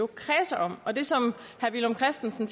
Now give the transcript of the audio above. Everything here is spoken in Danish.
kredser om og det som herre villum christensen